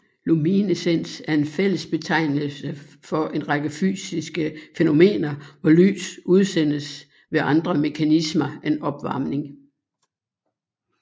Luminescens er en fællesbetegnelse for en række fysiske fænomener hvor lys udsendes ved andre mekanismer end opvarmning